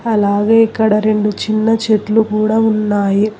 అలాగే ఇక్కడ రెండు చిన్న చెట్లు కూడా ఉన్నాయి.